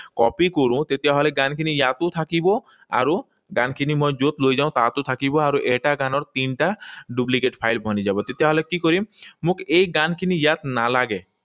Copy কৰোঁ, তেতিয়াহলে গানখিনি ইয়াতো থাকিব আৰু গানখিনি মই যত লৈ যাওঁ তাতো থাকিব। আৰু এটা গানৰ তিনিটা duplicate file বনি যাব। তেতিয়াহলে কি কৰিম? মোক এই গানখিনি ইয়াত নালাগে।